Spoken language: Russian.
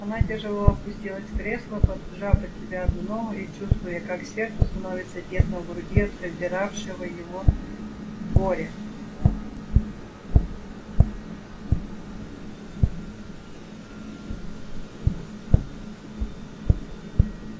она тяжело опустилась в кресло поджав под себя одну ногу и чувствуя как сердцу становится тесно в груди от раздиравшего его горя